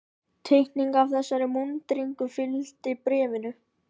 Teikning af þessari múnderingu fylgdi bréfinu.